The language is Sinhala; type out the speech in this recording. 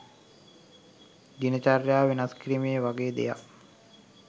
දින චර්යාව වෙනස් කිරීම වගේ දෙයක්